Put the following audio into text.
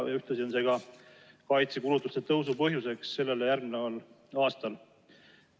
Ühtlasi on see ka kaitsekulutuste tõusu põhjus sellele järgneval aastal.